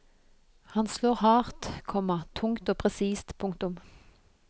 Han slår hardt, komma tungt og presist. punktum